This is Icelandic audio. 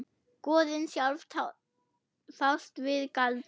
Goðin sjálf fást við galdra.